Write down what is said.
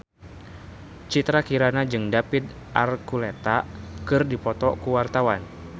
Citra Kirana jeung David Archuletta keur dipoto ku wartawan